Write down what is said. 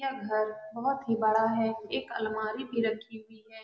यह घर बहुत ही बड़ा है। एक अलमारी भी रखी हुइ है।